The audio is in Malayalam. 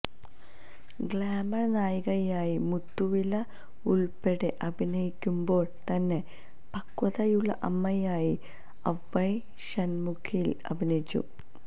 ഗ്ലാമര് നായികയായി മുത്തുവില് ഉള്പ്പെടെ അഭിനയിക്കുമ്പോള് തന്നെ പക്വതയുള്ള അമ്മയായി അവ്വൈ ഷണ്മുഖിയില് അഭിനയിച്ചു